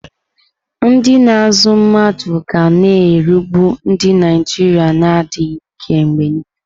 Ndị na-azụ mmadụ ga na-erigbu ndị Naijiria na-adịghị ike mgbe niile.